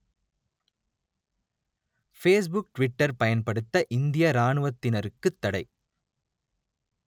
Facebook Twitter பயன்படுத்த இந்திய இராணுவத்தினருக்குத் தடை